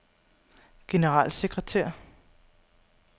generalsekretær